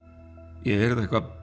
ég heyrði eitthvað